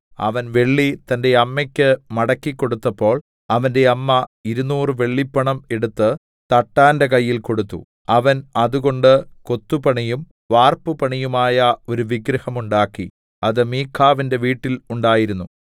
അവൻ വെള്ളി തന്റെ അമ്മയ്ക്ക് മടക്കിക്കൊടുത്തപ്പോൾ അവന്റെ അമ്മ ഇരുനൂറ് വെള്ളിപ്പണം എടുത്ത് തട്ടാന്റെ കയ്യിൽ കൊടുത്തു അവൻ അതുകൊണ്ട് കൊത്തുപണിയും വാർപ്പുപണിയുമായ ഒരു വിഗ്രഹം ഉണ്ടാക്കി അത് മീഖാവിന്റെ വീട്ടിൽ ഉണ്ടായിരുന്നു